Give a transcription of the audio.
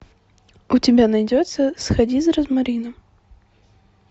у тебя найдется сходи за розмарином